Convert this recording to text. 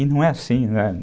E não é assim, né?